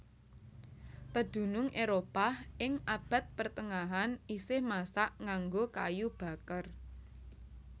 Pedunung Éropah ing abad pertengahan isih masak nganggo kayu baker